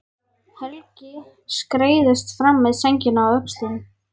Helgi skreiðist fram með sængina á öxlunum.